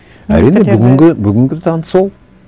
әрине бүгінгі бүгінгі таң сол